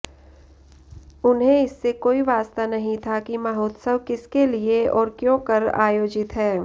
उन्हें इससे कोई वास्ता नहीं था कि महोत्सव किसके लिए और क्योंकर आयोजित है